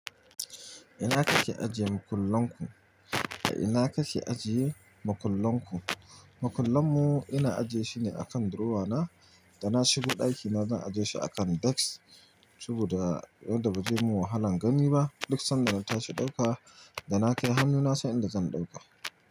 Ina kake ajiye makullan ku? Ina kake ajiye makullan ku? Makullan mu ina ajiye shine akan durowa na, da na shigo ɗakina zan ajiye shi akan desk, saboda yadda ba zai mun wahalan gani ba, duk sanda na tashi ɗauka, da na kai hannu na san inda zan ɗauka.